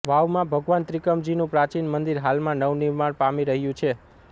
વાવમાં ભગવાન ત્રિકમજીનું પ્રાચિન મંદીર હાલમાં નવનિર્માણ પામી રહ્યુ છે